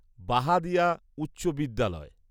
বাহাদিয়া উচ্চ বিদ্যালয়